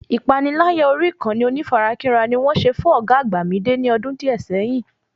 Ìpaniláyà orí ìkànnì onífarakínra ni wọ́n ṣe fún ọ̀gá àgbà Mìídé ní ọjọ́ díẹ̀ sẹ́yín